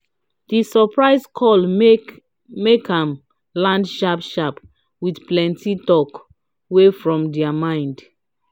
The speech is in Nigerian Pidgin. de surprise call make am land sharp sharp with plenty talk wey from dia mind.